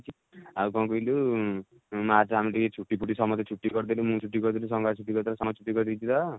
ଆଉ କଣ କହିଲୁ ଉଁ ମାର୍ଚ ଆମେ ଟିକେ ଛୁଟି ଫୁଟି ସମସ୍ତେ ଛୁଟି କରିଦେଲୁ ମୁଁ ଛୁଟି କରିଦେଲି ସଂଗାତ ଛୁଟି କରିଦେଲା ସମସ୍ତେ ଛୁଟି କରିଦେଇଛନ୍ତି ତ